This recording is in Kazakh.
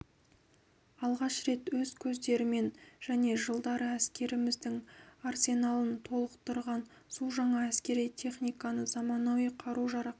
алғаш рет өз көздерімен және жылдары әскеріміздің арсеналын толықтырған су жаңа әскери техниканы заманауи қару-жарақ